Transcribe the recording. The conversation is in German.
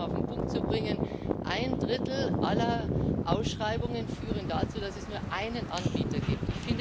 Also, um es nochmal auf den Punkt zu bringen Ein Drittel aller Ausschreibungen führen dazu, dass es einen Anbieter gibt.